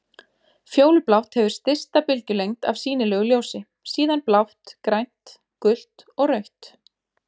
Fjólublátt hefur stysta bylgjulengd af sýnilegu ljósi, síðan blátt, grænt, gult og rautt.